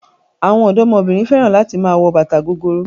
Àwọn ọ̀dọ́mọbìnrin fẹ́ràn láti máa wọ bàtà gogoro.